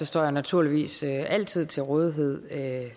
står jeg naturligvis altid til rådighed